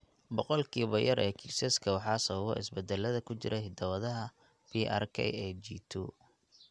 Boqolkiiba yar ee kiisaska waxaa sababa isbeddellada ku jira hidda-wadaha PRKAG2.